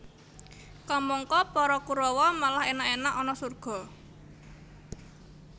Kamangka para Kurawa malah enak enak ana surga